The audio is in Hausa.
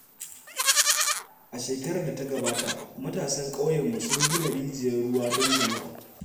A shekarar da ta gabata, matasan ƙauyenmu sun gina rijiyar ruwa don jama’a.